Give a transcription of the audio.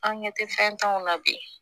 An ɲɛ tɛ fɛntanw na bi